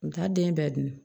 N taa den bɛɛ dun